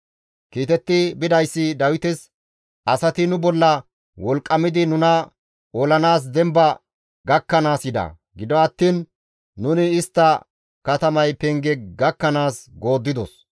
Kiitetti bidayssi Dawites, «Asati nu bolla wolqqamidi nuna olanaas demba gakkanaas yida; gido attiin nuni istta katamay penge gakkanaas gooddidos.